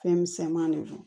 Fɛn misɛnmani de don